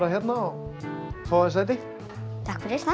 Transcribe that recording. hérna og fá þér sæti takk fyrir það